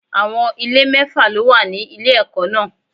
Àwọn ilé mẹ́fà ló wà ní ilé ẹ̀kọ́ náà.